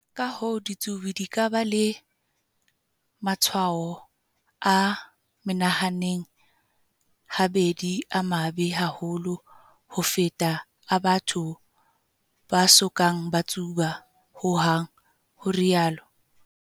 Ka-hoo, ditsubi di ka ba le matshwao a menahaneng habedi a mabe haholo ho feta a batho ba so kang ba tsuba hohang, ho rialo